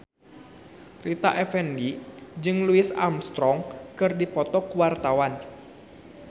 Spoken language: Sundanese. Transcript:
Rita Effendy jeung Louis Armstrong keur dipoto ku wartawan